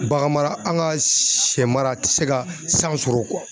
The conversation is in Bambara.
Bagan mara an ka shɛ mara a tɛ se ka san sɔrɔ